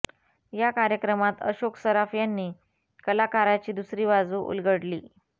या कार्यक्रमात अशोक सराफ यांनी कलाकाराची दुसरी बाजू उलगडली